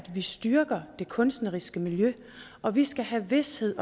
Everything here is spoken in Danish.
vi styrker det kunstneriske miljø og vi skal have vished